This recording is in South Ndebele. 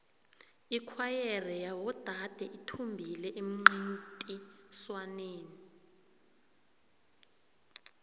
ikhwayere yabodade ithumbile emncintiswaneni